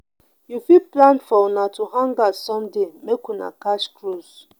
you fit plan for una to hangout someday make una catch cruise